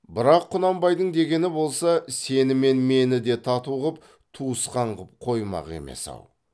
бірақ құнанбайдың дегені болса сені мен мені де тату қып туысқан қып қоймақ емес ау